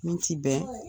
Min ti bɛn